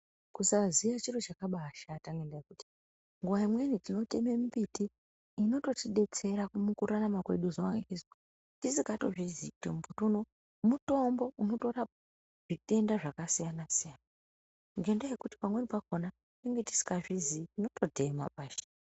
Kusaziya chiro chakabaashata ngendaa yekuti nguva imweni tinoteme mimbiti inotodetsera mukurarama kwedu zuva ngezuva tisikatozvizii kuti muti uno mutombo unotorapa zvitenda zvakasiyana-siyana. Ngendaa yekuti pamweni pakona tinenge tisikazvizii tinototema pashi.